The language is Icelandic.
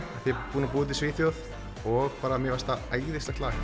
búinn að búa úti í Svíþjóð og mér finnst það æðislegt lag